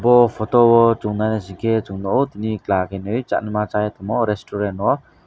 o photo o chowng nai naisike chung nogo tini khenui changma sai tongmo restaurant o.